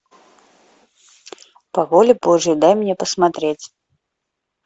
по воле божьей дай мне посмотреть